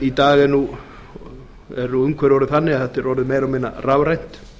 í dag er nú umhverfið orðið þannig að þetta er orðið meira og minna rafrænt